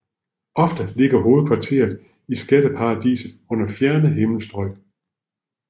Ofte ligger hovedkvarteret i skatteparadiser under fjerne himmelstrøg